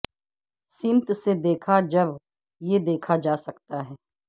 سمت سے دیکھا جب یہ دیکھا جا سکتا ہے